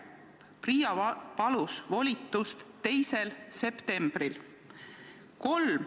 PRIA palus volitust 2. septembriks.